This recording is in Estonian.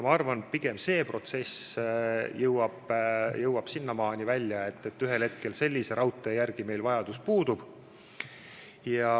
Ma arvan, et pigem see protsess jõuab sinnamaani, et ühel hetkel sellise raudtee järele meil vajadus puudub.